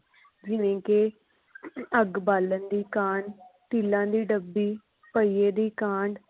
ਜਿਵੇ ਕਿ ਅੱਗ ਬਾਲਣ ਦੀ ਕਾਂਡ ਤੀਲਾ ਦੀ ਡੱਬੀ ਪਹੀਏ ਦੀ ਕਾਂਡ